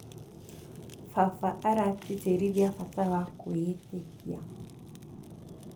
Baba aratĩtĩrithia bata wa kwĩĩtĩkia.